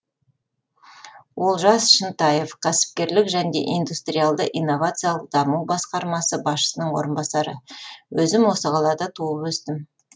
олжас шынтаев кәсіпкерлік және индустриалды инновациялық даму басқармасы басшысының орынбасары өзім осы қалада туып өстім